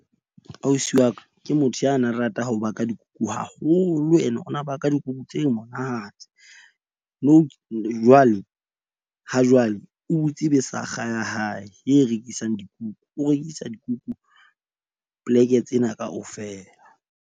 Ausi wa ka ke motho ya na rata ho baka dikuku haholo ene ona baka dikuku tse monate. Nou jwale ha jwale o butse besakga ya hae e rekisang dikuku, o rekisa dikuku plek-e tsena kaofela.